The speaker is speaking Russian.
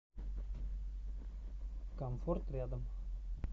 комфорт рядом